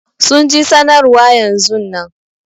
Sun ji sanarwa yanzun nan.